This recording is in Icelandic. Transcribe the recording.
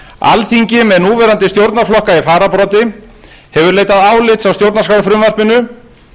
alþingi með núverandi stjórnarflokka í fararbroddi hefur leitað álits á stjórnarskrárfrumvarpinu